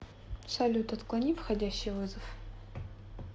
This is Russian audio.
салют отклони входящий вызов